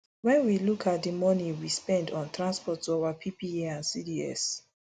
wen we look at di money we spend on transport to our ppa and cds